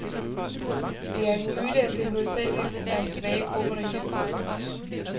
Det er en myte, at det hovedsageligt er svage grupper, der hjælpes.